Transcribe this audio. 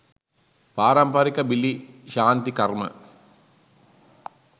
පාරම්පරික බිලි ශාන්ති කර්ම